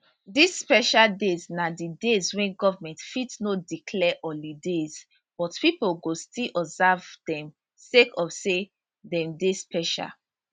dis special days na di days wey goment fit no declare holidays but pipo go still observe dem sake of say dem dey special